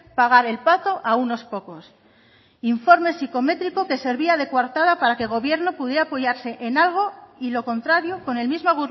pagar el pato a unos pocos informes psicométrico que servía de coartada para que el gobierno pudiera apoyarse en algo y lo contrario con el mismo